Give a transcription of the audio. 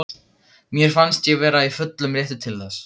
Mér fannst ég vera í fullum rétti til þess.